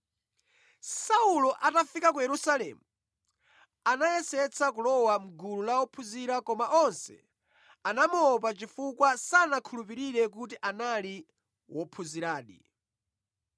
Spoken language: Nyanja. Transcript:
Saulo atafika ku Yerusalemu, anayesetsa kulowa mʼgulu la ophunzira koma onse anamuopa chifukwa sanakhulupirire kuti anali wophunziradi.